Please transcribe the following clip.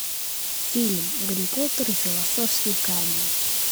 фильм гарри поттер и философский камень